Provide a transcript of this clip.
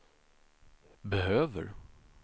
behöver